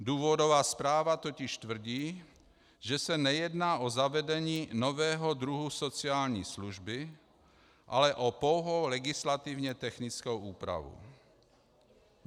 Důvodová zpráva totiž tvrdí, že se nejedná o zavedení nového druhu sociální služby, ale o pouhou legislativně technickou úpravu.